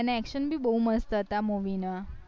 એના action ભી બૌ મસ્ત હતા movie ના